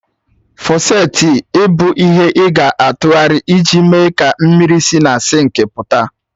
Fọsèti i bụ ihe ị ga-atụgharịrị iji mee ka mmiri si na sinkị pụta.